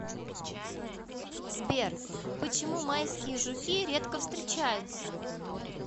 сбер почему майские жуки редко встречаются